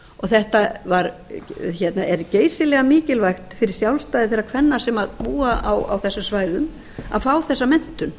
að kaupa inn þetta er geysilega mikilvægt fyrir sjálfstæði þeirra kvenna sem búa á þessum svæðum að fá þessa menntun